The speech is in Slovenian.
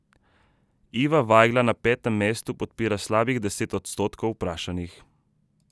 Iva Vajgla na petem mestu podpira slabih deset odstotkov vprašanih.